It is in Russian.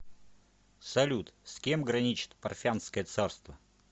салют с кем граничит парфянское царство